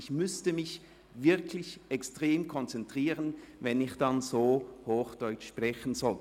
Ich müsste mich wirklich extrem konzentrieren, wenn ich dann «so hochdeutsch sprechen soll».